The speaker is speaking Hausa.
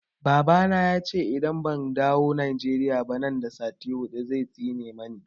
Baba na ya ce idan ban dawo Nigeria ba nan da sati hudu zai tsine mani.